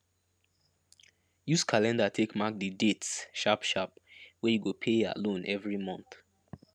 use calendar take mark the dates sharpsharp wey you go pay ya loan every month